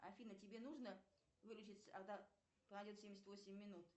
афина тебе нужно выручить семьдесят восемь минут